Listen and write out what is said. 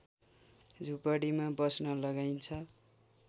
झुपडीमा बस्न लगाइन्छ